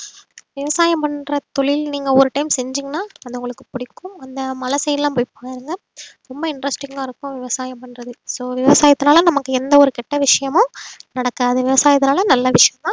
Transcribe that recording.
விவசாயம் பண்ற தொழில் நீங்க ஒரு time செஞ்சீங்கன்னா அது உங்களுக்கு பிடிக்கும் அந்த மலை side எல்லாம் போய் பாருங்க ரொம்ப interesting ஆ இருக்கும் விவசாயம் பண்றது so விவசாயத்துனால நமக்கு எந்த ஒரு கெட்ட விஷயமும் நடக்காது விவசாயத்துனால நல்ல விஷயம் தான்